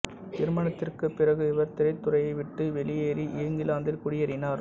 திருமணத்திற்கு பிறகு இவர் திரைத்துறையை விட்டு வெளியேறி இங்கிலாந்தில் குடியேறினார்